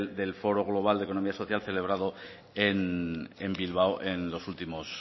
del foro global de economía social celebrado en bilbao en